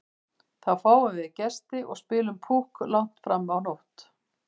Þá fáum við gesti og spilum Púkk langt fram á nótt.